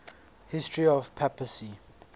history of the papacy